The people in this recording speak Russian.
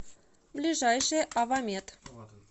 ближайший авамет